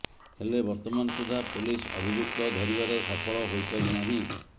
ହେଲେ ବର୍ତ୍ତମାନ ସୁଦ୍ଧା ପୋଲିସ ଅଭିଯୁକ୍ତ ଧରିବାରେ ସଫଳ ହୋଇ ପାରି ନାହିଁ